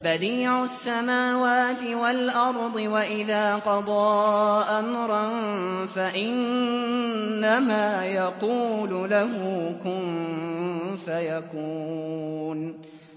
بَدِيعُ السَّمَاوَاتِ وَالْأَرْضِ ۖ وَإِذَا قَضَىٰ أَمْرًا فَإِنَّمَا يَقُولُ لَهُ كُن فَيَكُونُ